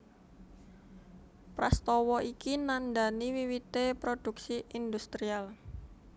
Prastawa iki nandhani wiwité produksi industrial